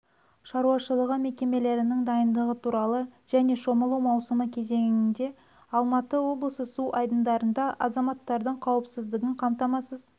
шаруашылығы мекемелерінің дайындығы туралы және шомылу маусымы кезеңінде алматы облысының су айдындарында азаматтардың қауіпсіздігін қамтамасыз